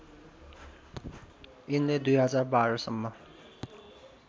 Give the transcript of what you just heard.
यिनले २०१२ सम्म